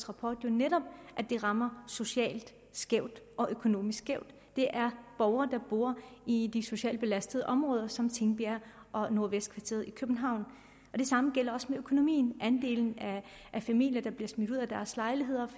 rapport jo netop at det rammer socialt skævt og økonomisk skævt det er borgere der bor i de socialt belastede områder som tingbjerg og nordvestkvarteret i københavn det samme gælder også med økonomien andelen af familier der bliver smidt ud af deres lejligheder